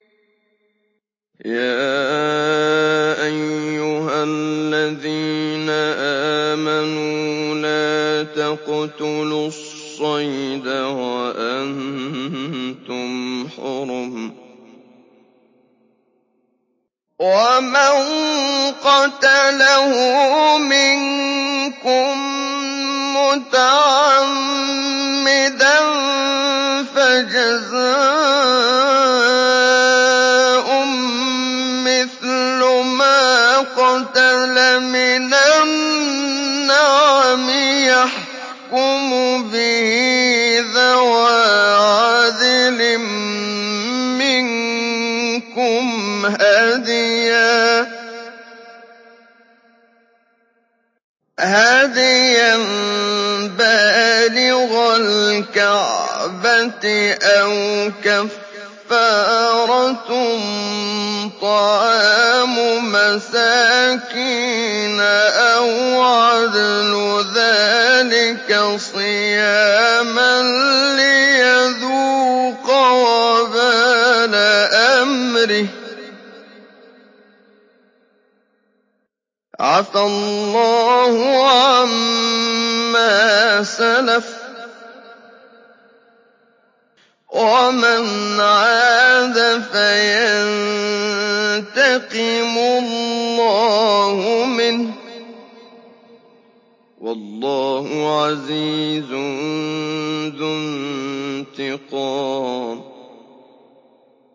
يَا أَيُّهَا الَّذِينَ آمَنُوا لَا تَقْتُلُوا الصَّيْدَ وَأَنتُمْ حُرُمٌ ۚ وَمَن قَتَلَهُ مِنكُم مُّتَعَمِّدًا فَجَزَاءٌ مِّثْلُ مَا قَتَلَ مِنَ النَّعَمِ يَحْكُمُ بِهِ ذَوَا عَدْلٍ مِّنكُمْ هَدْيًا بَالِغَ الْكَعْبَةِ أَوْ كَفَّارَةٌ طَعَامُ مَسَاكِينَ أَوْ عَدْلُ ذَٰلِكَ صِيَامًا لِّيَذُوقَ وَبَالَ أَمْرِهِ ۗ عَفَا اللَّهُ عَمَّا سَلَفَ ۚ وَمَنْ عَادَ فَيَنتَقِمُ اللَّهُ مِنْهُ ۗ وَاللَّهُ عَزِيزٌ ذُو انتِقَامٍ